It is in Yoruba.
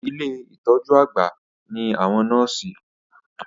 Ilé ìtọjú àgbà ní àwọn nọ́ọ̀sì.